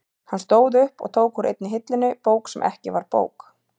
Hann stóð upp og tók úr einni hillunni bók sem ekki var bók.